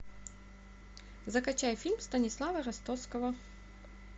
закачай фильм станислава ростоцкого